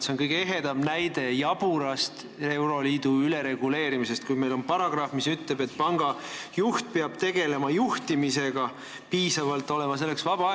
See on kõige ehedam näide jaburast euroliidu ülereguleerimisest, kui meil on paragrahv, mis ütleb, et pangajuht peab tegelema juhtimisega, tal peab selleks piisavalt vaba aega olema.